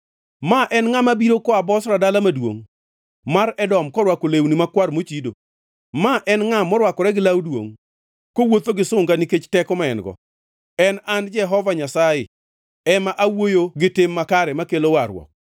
Ma en ngʼa mabiro koa Bozra dala maduongʼ mar Edom korwako lewni makwar mochido? Ma en ngʼa morwakore gi law duongʼ, kowuotho gi sunga nikech teko ma en-go? En an Jehova Nyasaye ema awuoyo gi tim makare makelo warruok.